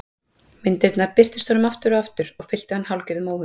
Myndirnar birtust honum aftur og aftur og fylltu hann hálfgerðum óhug.